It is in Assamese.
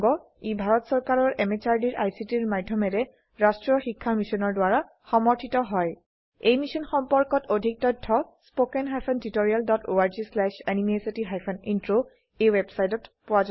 ই ভাৰত চৰকাৰৰ MHRDৰ ICTৰ মাধয়মেৰে ৰাস্ত্ৰীয় শিক্ষা মিছনৰ দ্ৱাৰা সমৰ্থিত হয় এই মিশ্যন সম্পৰ্কত অধিক তথ্য spoken hyphen tutorial dot org slash এনএমইআইচিত হাইফেন ইন্ট্ৰ এই ৱেবচাইটত পোৱা যাব